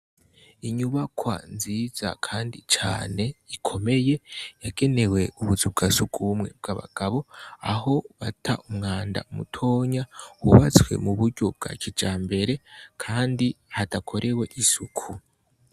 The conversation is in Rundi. Inyubakwa nziza kandi cane kandi ikomeye yagenewe ubuzu bwa sugumwe bw'abagabo, aho bata umwanda mutonya wubatswe mu buryo bwa kijambere kandi hadakorewe isuku.